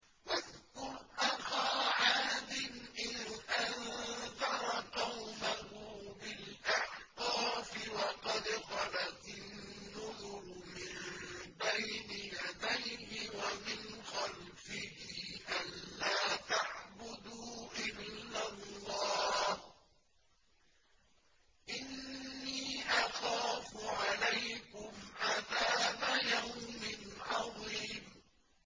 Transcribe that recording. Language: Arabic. ۞ وَاذْكُرْ أَخَا عَادٍ إِذْ أَنذَرَ قَوْمَهُ بِالْأَحْقَافِ وَقَدْ خَلَتِ النُّذُرُ مِن بَيْنِ يَدَيْهِ وَمِنْ خَلْفِهِ أَلَّا تَعْبُدُوا إِلَّا اللَّهَ إِنِّي أَخَافُ عَلَيْكُمْ عَذَابَ يَوْمٍ عَظِيمٍ